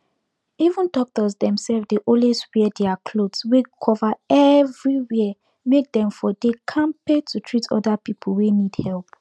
even doctors themself dey always wear their cloth wey cover everywhere make dem for dey kampe to treat other people wey need help